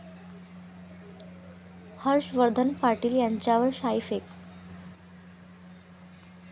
हर्षवर्धन पाटील यांच्यावर शाईफेक